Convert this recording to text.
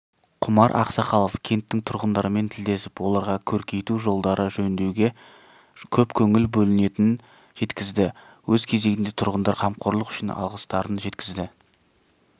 құмар ақсақалов кенттің тұрғындарымен тілдесіп оларға көркейту жолдарды жөндеуге көп көңіл бөлінетінін жеткізді өз кезегінде тұрғындар қамқорлық үшін алғыстарын жеткізді